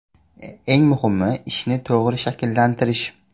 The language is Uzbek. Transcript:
Eng muhimi – ishni to‘g‘ri tashkillashtirish.